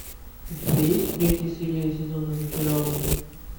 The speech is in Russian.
у тебя есть третья серия сезона зачарованные